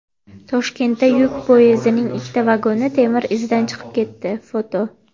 Toshkentda yuk poyezdining ikkita vagoni temir izdan chiqib ketdi (foto).